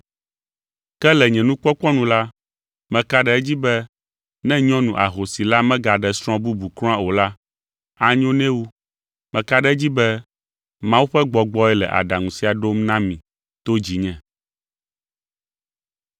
Ke le nye nukpɔkpɔ nu la, meka ɖe edzi be ne nyɔnu ahosi la megaɖe srɔ̃ bubu kura o la, anyo nɛ wu. Meka ɖe edzi be Mawu ƒe Gbɔgbɔe le aɖaŋu sia ɖom na mi to dzinye.